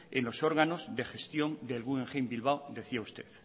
en los órganos de gestión del guggenheim bilbao decía usted